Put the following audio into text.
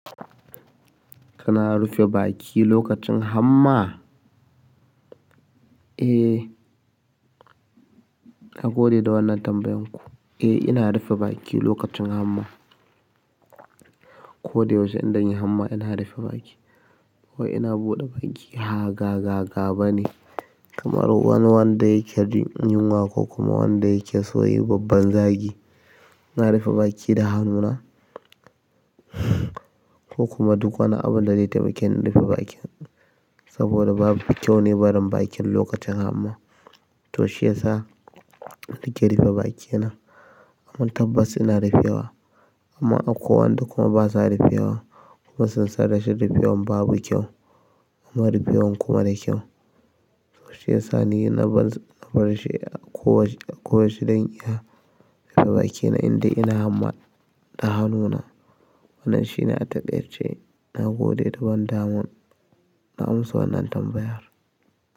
Kana rufe baki lokacin hamma? Eh, na gode da wannan tambayan ku. Eh, ina rufe baki lokacin hamma. Ko da yaushe indanyi hamma ina rufe baki. Ba wai ina buɗe baki, ha ga gaga bane. Kamar wani wanda yake jin yunwa ko kuma wanda yake son yin babban zagi. Ina rufe baki da hannuna ko kuma duk wani abu da zai taimake ni in rufe bakin saboda babu kyau ne barin bakin lokacin hamma. To shi ya sa nake rufe bakina. Amman tabbas ina rufewa. Amman akwai wa'anda kuma basa rufewa kuma sun san rashin rufewan babu kyau kuma rufewan kuma da kyau. To shi ya sa ni na farshi a koyaushe zan iya rufe bakina indai ina hamma da hannuna. Wannan shi na taƙaice, na gode da wannan daman, na amsa wannan tambayar.